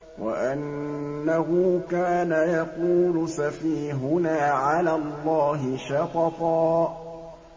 وَأَنَّهُ كَانَ يَقُولُ سَفِيهُنَا عَلَى اللَّهِ شَطَطًا